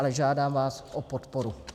Ale žádám vás o podporu.